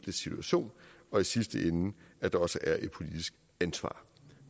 situation og i sidste ende at der også er et politisk ansvar